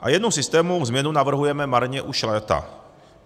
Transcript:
A jednu systémovou změnu navrhujeme marně už léta.